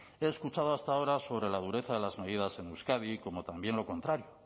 he escuchado hasta ahora sobre la dureza de las medidas en euskadi como también lo contrario